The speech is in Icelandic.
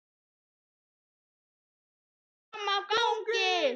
Hann beið eftir mér frammi á gangi.